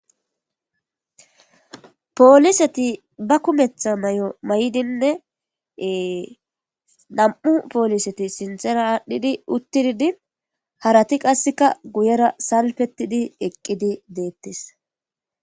Poliseti banta kumeta mayo mayidinne nam'u poliseti sintera adhidi utidi harati qaseka guyera salfetidi eqidi detes.